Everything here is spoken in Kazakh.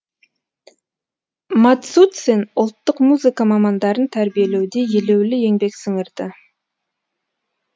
мацуцин ұлттық музыка мамандарын тәрбиелеуде елеулі еңбек сіңірді